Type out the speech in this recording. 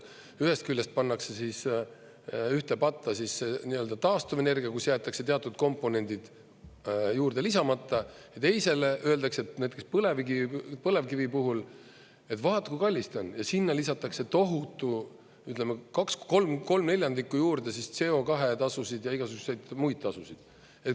Ühest küljest pannakse ühte patta nii-öelda taastuvenergia, kus jäetakse teatud komponendid juurde lisamata, ja teisele öeldakse, et näiteks põlevkivi puhul, et vaat, kui kallis ta on, ja sinna lisatakse tohutu, ütleme, ¾ juurde siis CO2-tasusid ja igasuguseid muid tasusid.